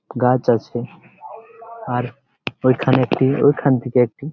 গাছ আছে আর ঐখানে একটি ঐখান থেকে একটি--